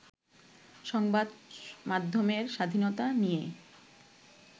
সংবাদ মাধ্যমের স্বাধীনতা নিয়ে